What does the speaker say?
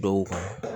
Dɔw kan